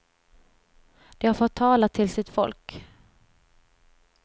De har fått tala till sitt folk.